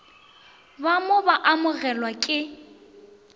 ba mo ba amogelwago ke